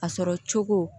A sɔrɔ cogo